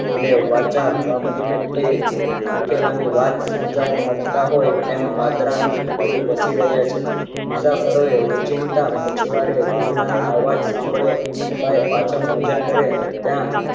અને વાચા વાપરી ને ની વાત સમજવા માં જતા હોય તેમ પાદરાનું કૂતરું ભસી રયા છે. પછવાડે ઘૂઘરા ના અવાજ સાંભળ્યાં. બાઈ પાછળ નજર કરેં ત્યાં